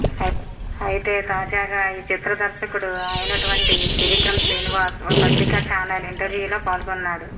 అయితే తాజాగా ఈ చిత్ర దర్శకుడు అయినటువంటి త్రివిక్రమ్ శ్రీనివాస్ ఓ పత్రిక ఛానల్ ఇంటర్వ్యూలో పాల్గొన్నాడు